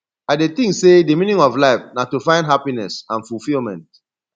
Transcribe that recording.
i dey think say di meaning of life na to find happiness and fulfillment